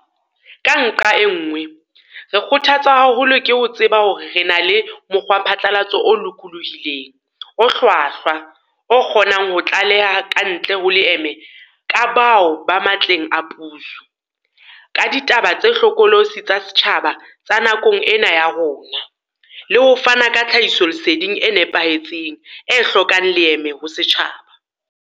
Ka nqa e nngwe, re kgotha tswa haholo ke ho tseba hore re na le mokgwaphatlalatso o lokolohileng, o hlwahlwa o kgonang ho tlaleha kantle ho leeme ka bao ba matleng a puso, ka ditaba tse hlokolosi tsa setjhaba tsa nakong ena ya rona, le ho fana ka tlhahisoleseding e nepahetseng, e hlokang leeme ho setjhaba.